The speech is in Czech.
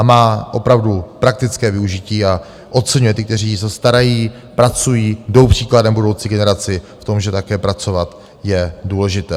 A má opravdu praktické využití a oceňuje ty, kteří se starají, pracují, jdou příkladem budoucí generaci v tom, že také pracovat je důležité.